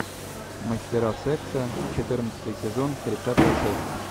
мастера секса четырнадцатый сезон тридцатая часть